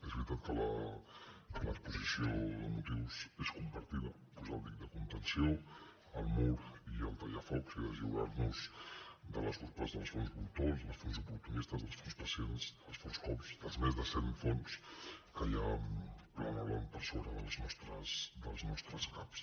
és veritat que l’exposició de motius és compartida posar el dic de contenció el mur i el tallafocs i deslliurar nos de les urpes dels fons voltors dels fons oportunistes dels fons pacients dels fons cops dels més de cent fons que hi ha planejant per sobre dels nostres caps